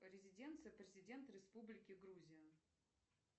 резиденция президента республики грузия